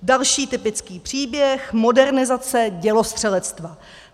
Další typický příběh, modernizace dělostřelectva.